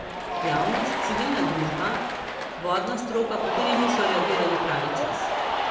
Javnost, civilna družba, vodna stroka pa tudi niso reagirali pravi čas.